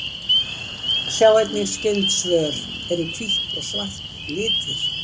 Sjá einnig skyld svör: Eru hvítt og svart litir?